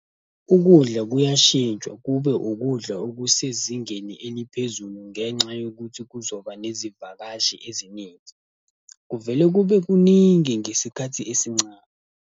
Ukudla kuyashintshwa kube ukudla okusezingeni eliphezulu ngenxa yokuthi kuzoba nezivakashi eziningi. Kuvele kube kuningi ngesikhathi esincane.